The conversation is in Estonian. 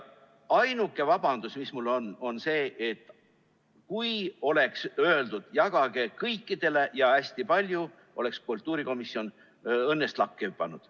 Ainuke vabandus, mis mul on, on see: kui oleks öeldud, et jagage kõikidele ja hästi palju, oleks kultuurikomisjon õnnest lakke hüpanud.